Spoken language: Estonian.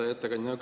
Hea ettekandja!